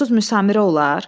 Heç onsuz müsamerə olar?